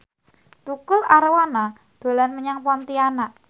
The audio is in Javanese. Tukul Arwana dolan menyang Pontianak